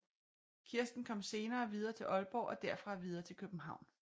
Kirsten kom senere videre til Aalborg og derfra videre til København